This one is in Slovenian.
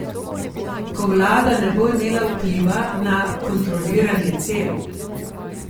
Ko vlada ne bo imela vpliva na kontroliranje cen?